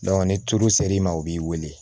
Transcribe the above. ni tulu sera i ma u b'i wele